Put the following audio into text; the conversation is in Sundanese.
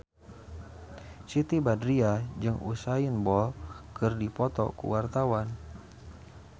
Siti Badriah jeung Usain Bolt keur dipoto ku wartawan